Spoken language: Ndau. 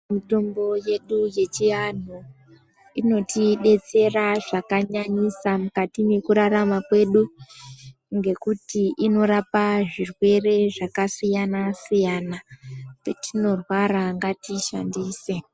Mitombo yedu yechianhu inodetsera zvakanyanyisa mukati mekurarama kwedu nekuti inorapa zvirwere zvakasiyana siyana petinorwara ngatiishandise.